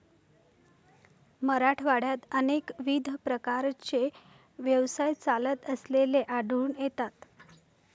मराठवाड्यात अनेकविध प्रकारचे व्यवसाय चालत असलेले आढळून येतात.